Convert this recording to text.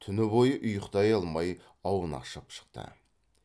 түн бойы ұйықтай алмай аунақшып шықты